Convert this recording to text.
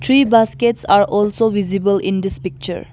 three baskets are also visible in this picture.